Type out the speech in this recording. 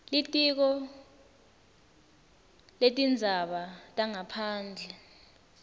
litiko letindzaba tangaphandle